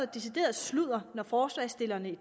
decideret sludder når forslagsstillerne i